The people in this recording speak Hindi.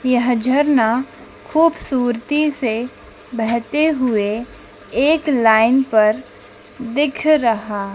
यह झरना खूबसूरती से बहते हुए एक लाइन पर दिख रहा--